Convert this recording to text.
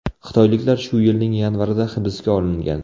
Xitoyliklar shu yilning yanvarida hibsga olingan.